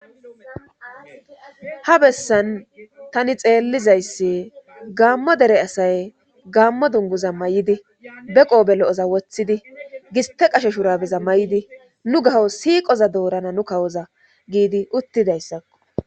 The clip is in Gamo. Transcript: Ha bessan tani xeellizayssi gaammo dere asay gaammo dunguza may'idi be qoobe lo'oza woththidi giste qasho shurabeza may'idi nu gaho siiqoza doorana nu kawoza giidi uttidayssakko.